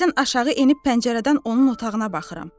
Bəzən aşağı enib pəncərədən onun otağına baxıram.